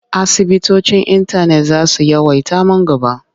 Asibitocin intanet za su yawaita man gaba.